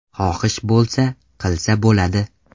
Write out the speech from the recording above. Xohish bo‘lsa, qilsa bo‘ladi.